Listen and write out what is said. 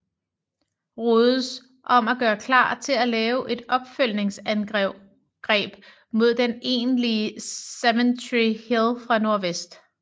Rodes om at gøre klar til at lave et opfølgningsangreb mod den egentlige Cemetery Hill fra nordvest